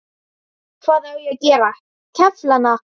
Hvað á ég að gera, kefla hana?